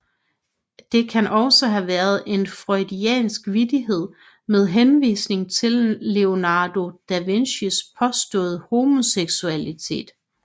Det kan også have været en freudiansk vittighed med henvisning til Leonardo da Vincis påståede homoseksualitet